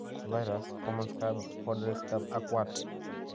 vairas, common scab, powdery scab ak wart.